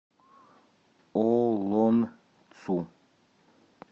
олонцу